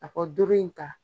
A ko doro in ta.